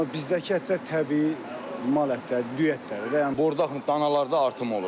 Amma bizdəki ətlər təbii mal ətləri, düyə ətləri, bordaq danalarda artım olur.